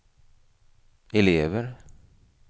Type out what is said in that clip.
elever